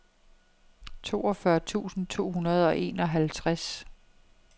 toogfyrre tusind to hundrede og enoghalvtreds